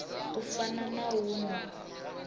u fana na u nwa